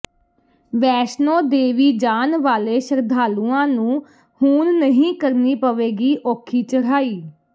ਵੈਸ਼ਨੋ ਦੇਵੀ ਜਾਣ ਵਾਲੇ ਸ਼ਰਧਾਲੂਆਂ ਨੂੰ ਹੁਣ ਨਹੀਂ ਕਰਨੀ ਪਵੇਗੀ ਔਖੀ ਚੜ੍ਹਾਈ